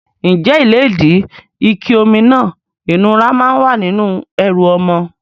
Ǹjẹ́ ìlédìí, ike omi náà ìnura máa ń wà nínú ẹrù ọmọ?